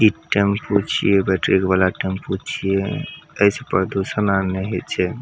इ टेम्पू छीये बैटरी वाला टेम्पू छीये ए से प्रदूषण आर ने होय छै।